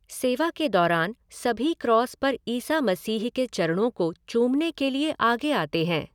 सेवा के दौरान सभी क्रॉस पर ईसा मसीह के चरणों को चूमने के लिए आगे आते हैं।